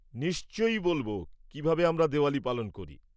নিশ্চয়ই বলব কীভাবে আমরা দিওয়ালী পালন করি।